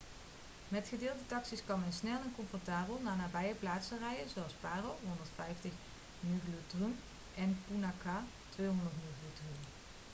met gedeelde taxi's kan men snel en comfortabel naar nabije plaatsen reizen zoals paro 150 ngultrum en punakha 200 ngultrum